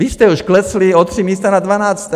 Vy jste už klesli o tři místa na dvanácté.